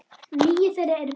Níu þeirra eru börn.